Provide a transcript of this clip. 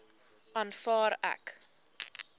aanvaar ek